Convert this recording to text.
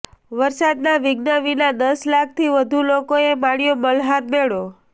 વરસાદના વિધ્ન વિના દસ લાખથી વધુ લોકોએ માણ્યો મલ્હાર મેળો